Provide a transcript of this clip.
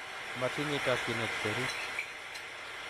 matinye chokchinet berur